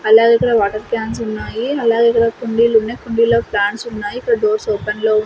అలాగే ఇక్కడ water cans ఉన్నాయి అలాగే ఇక్కడ కుండీలున్నయ్ కుండీలలో ప్లాంట్స్ ఉన్నాయి ఇక్కడ డోర్స్ ఓపెన్ లో --